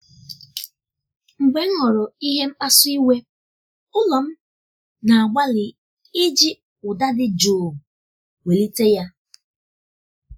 mgbe m hụrụ ihe mkpasu iwe ulo m na-agbalị iji ụda dị jụụ um um welite ya.